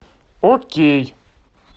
окей